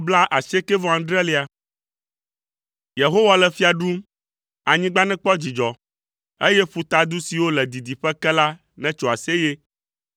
Yehowa le fia ɖum, anyigba nekpɔ dzidzɔ, eye ƒutadu siwo le didiƒe ke la netso aseye.